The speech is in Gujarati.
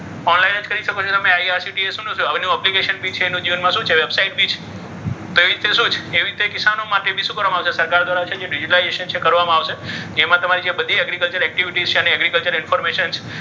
online જ કરી શકો છો તમે, કરી શકો છો તમે application બી છે. અને તમે website બી છે. એવી રીતે શું છે? એવી રીતે કિસાનો માટે બી શું કરવામાં આવશે? તો સરકાર દ્વારા જે digitalization છે તે કરવામાં આવશે. એમાં તમારે જે બધી agriculture activities છે અને agriculture information છે.